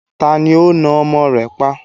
Ta ni ó na ọmọ rẹ̀ pa?